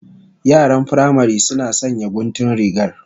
Yaran firamari suna sanya guntun rigar